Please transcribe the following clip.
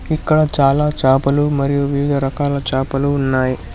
ఇక్కడ చాలా చాపలు మరియు వివిధ రకాల చాపలు ఉన్నాయి.